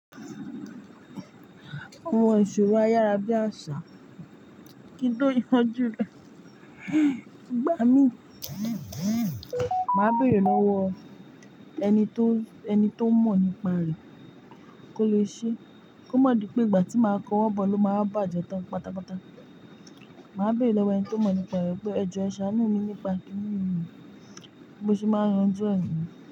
Awon ìṣòro ayára bí àṣá. Kí n tó yanjú rẹ̀, igbá mi. Màá bèrè lọ́wọ́ ẹni tó, ẹni tó mọ̀ nípa rẹ̀ kó le ṣe, kó má di pé ìgbà tí màá kọ́wọ́ bọ̀ ló máa bá à jẹ tán pátápátá. Màá bèrè lọ́wọ́ ẹni tó mọ̀ nípa rẹ̀ pé ẹjọ ẹ ṣàánú mi nípa kínni yi, bi mo se máa yanjú ẹ̀ niyen.